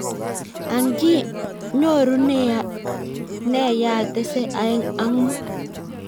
Ang ii! I nyoru ne yaetese aeng ak mut?